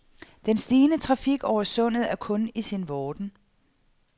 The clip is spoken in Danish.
Den stigende trafik over sundet er kun i sin vorden.